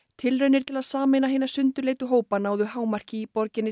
tilraunir til að sameina hina sundurleitu hópa náðu hámarki í borginni